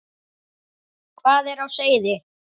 Hvað er á seyði?